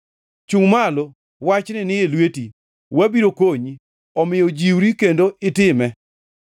Chungʼ malo; wachni ni e lweti. Wabiro konyi; omiyo jiwri kendo itime.”